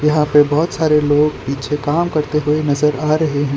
यहां पे बहोत सारे लोग पीछे काम करते हुए नजर आ रहे हैं।